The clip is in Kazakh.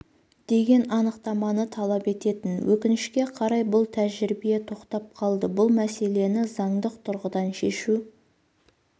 деген анықтаманы талап ететін өкінішке қарай бұл тәжірибе тоқтап қалды бұл мәселені заңдық тұрғыдан шешу